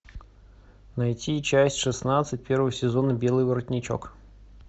найти часть шестнадцать первого сезона белый воротничок